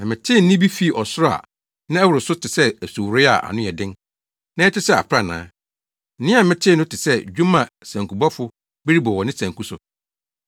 Na metee nne bi fii ɔsoro a na ɛworo so te sɛ asuworoe a ano yɛ den, na ɛte sɛ aprannaa. Nne a metee no te sɛ dwom a sankubɔfo bi rebɔ wɔ ne sanku so.